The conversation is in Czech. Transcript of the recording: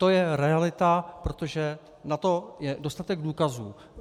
To je realita, protože na to je dostatek důkazů.